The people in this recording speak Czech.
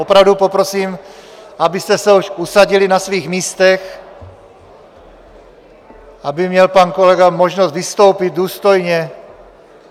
Opravdu poprosím, abyste se už usadili na svých místech, aby měl pan kolega možnost vystoupit důstojně.